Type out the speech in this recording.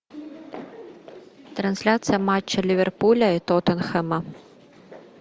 трансляция матча ливерпуля и тоттенхэма